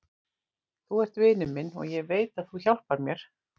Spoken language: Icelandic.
Þú ert vinur minn og ég veit að þú hjálpar mér.